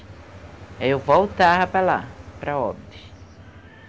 Aí eu voltava para lá, para Óbidos.